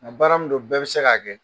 Nka baara min don bɛɛ bɛ se k'a kɛ.